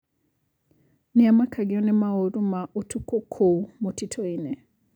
Nĩamakagio nĩmaũru ma ũtukũ kũu mũtitũinĩ.